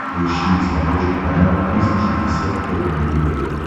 поищи на смотрешке канал триста шестьдесят пять дней тв